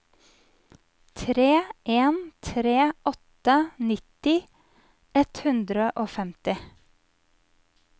tre en tre åtte nitti ett hundre og femti